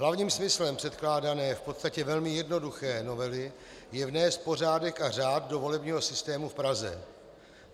Hlavním smyslem předkládané, v podstatě velmi jednoduché novely je vnést pořádek a řád do volebního systému v Praze.